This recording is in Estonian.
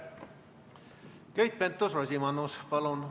Keit Pentus-Rosimannus, palun!